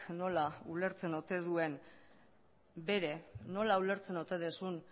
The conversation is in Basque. nola ulertzen ote duen bere nola ulertzen ote duzun